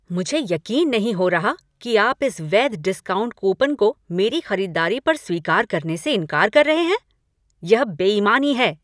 मुझे यकीन नहीं हो रहा कि आप इस वैध डिस्काउंट कूपन को मेरी खरीदारी पर स्वीकार करने से इंकार कर रहे हैं। यह बेईमानी है।